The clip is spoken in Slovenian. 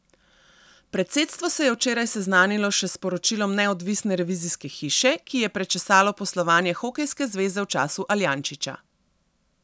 Predsedstvo se je včeraj seznanilo še s poročilom neodvisne revizijske hiše, ki je prečesalo poslovanje hokejske zveze v času Aljančiča.